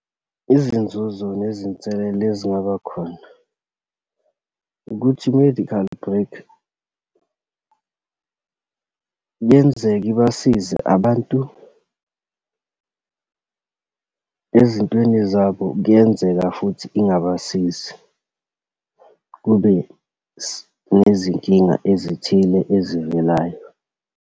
Izinzuzo nezinselelo ezingaba khona, ukuthi i-medical break kuyenzeka ibasize abantu ezintweni zabo. Kuyenzeka futhi ingabasizi, kube nezinkinga ezithile ezivelayo.